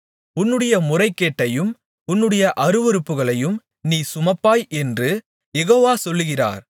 உன்னுடைய முறைகேட்டையும் உன்னுடைய அருவருப்புகளையும் நீ சுமப்பாய் என்று யெகோவா சொல்லுகிறார்